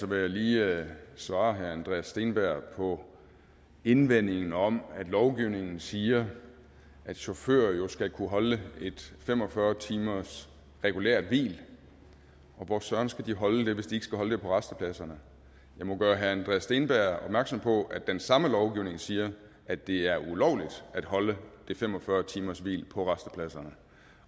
vil jeg lige svare herre andreas steenberg på indvendingen om at lovgivningen siger at chauffører jo skal kunne holde et fem og fyrre timers regulært hvil og hvor søren skal de holde det hvis de ikke skal holde det på rastepladserne jeg må gøre herre andreas steenberg opmærksom på at den samme lovgivning siger at det er ulovligt at holde det fem og fyrre timershvil på rastepladserne